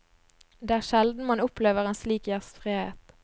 Det er sjelden man opplever en slik gjestfrihet.